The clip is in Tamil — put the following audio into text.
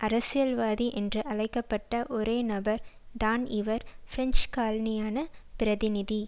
அரசியல்வாதி என்று அழைக்க பட்ட ஒரே நபர் தான் இவர் பிரெஞ்சு காலனியான பிரதிநிதி